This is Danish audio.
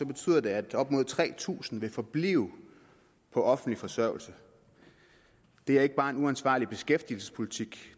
betyder det at op mod tre tusind vil forblive på offentlig forsørgelse det er ikke bare en uansvarlig beskæftigelsespolitik